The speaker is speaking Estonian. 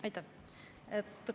Aitäh!